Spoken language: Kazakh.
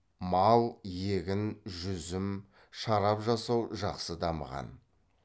мал егін жүзім шарап жасау жақсы дамыған